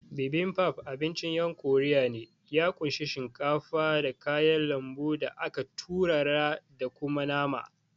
Bibimbap abincin ƴan korea ne, ya kunshi shinkafa, da kayan lambu da aka turara da kuma nama